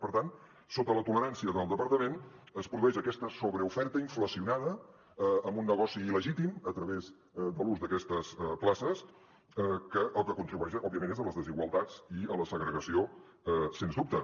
per tant sota la tolerància del departament es produeix aquesta sobreoferta inflacionada amb un negoci il·legítim a través de l’ús d’aquestes places que al que contribueix òbviament és a les desigualtats i a la segregació sens dubte